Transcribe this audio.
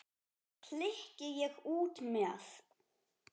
klykki ég út með.